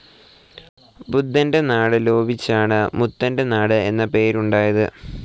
ബുദ്ധൻ്റെ നാട് ലോപിച്ചാണ് മുതൻ്റെ നാട് എന്ന പേര് ഉണ്ടായത്.